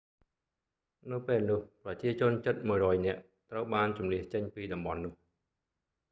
នៅពេលនោះ ប្រជាជនជិត 100 នាក់ត្រូវបានជម្លៀសចេញពីតំបន់នោះ